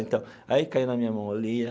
Então, aí caiu na minha mão eu lia.